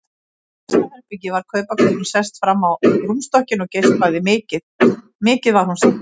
Í næsta herbergi var kaupakonan sest fram á rúmstokkinn og geispaði, mikið var hún syfjuð.